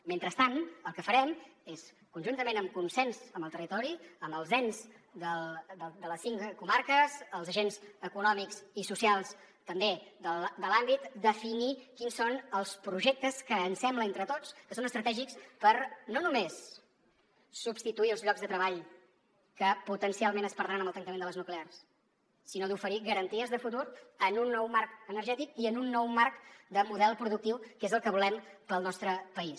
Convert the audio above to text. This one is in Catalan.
mentrestant el que farem és conjuntament en consens amb el territori amb els ens de les cinc comarques els agents econòmics i socials també de l’àmbit definir quins són els projectes que ens sembla entre tots que són estratègics per no només substituir els llocs de treball que potencialment es perdran amb el tancament de les nuclears sinó per oferir garanties de futur en un nou marc energètic i en un nou marc de model productiu que és el que volem per al nostre país